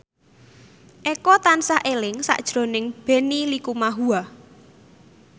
Eko tansah eling sakjroning Benny Likumahua